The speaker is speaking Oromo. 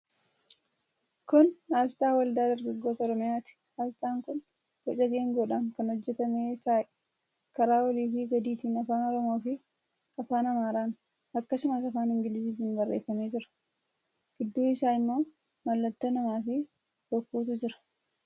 Kun aasxaa Waldaa Dargaggoota Oromiyaati. Aasxaan kun boca geengoodhaan kan hojjetame ta'ee, karaa oliifi gadiitiin afaan Oromoofi afaan Amaaraan, akkasumas afaan Ingiliziitiin barreeffamee jira. Gidduu isaa immoo mallattoo namaafi bokkuutu jira.